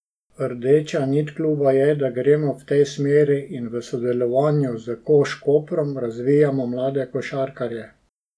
Rdeča nit kluba je, da gremo v tej smeri in v sodelovanju s Koš Koprom razvijamo mlade košarkarje.